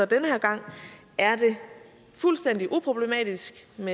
den her gang er det fuldstændig uproblematisk set